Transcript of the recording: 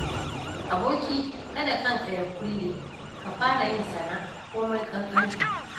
Aboki kada kanka ya kulle, ka fara yin sana'a komai ƙanƙantarta.